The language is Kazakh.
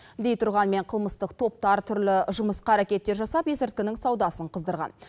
дейтұрғанмен қылмыстық топтар түрлі жымысқы әрекеттер жасап есірткінің саудасын қыздырған